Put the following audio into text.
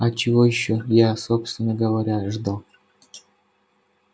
а чего ещё я собственно говоря ожидал